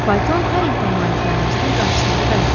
Fayton Harrinqton malikanəsinin qarşısında dayandı.